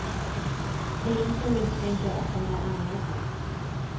Polisen misstänker att de är anlagda.